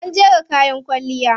An jera kayan kwalliya.